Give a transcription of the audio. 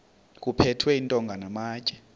kuphethwe iintonga namatye